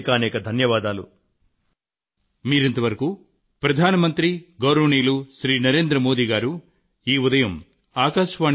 మీ అందరి కలలు పండాలని సంకల్పాలు అన్ని విధాలుగానూ నెరవేరాలని కోరుకొంటుస్తున్నాను